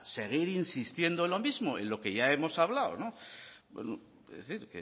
seguir insistiendo en lo mismo en lo que ya hemos hablado es decir